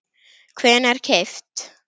hvenær keypt?